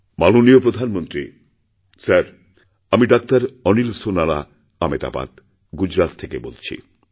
মাননীয় প্রধানমন্ত্রী স্যারআমি ডাক্তার অনিল সোনারা আমেদাবাদ গুজরাত থেকে বলছি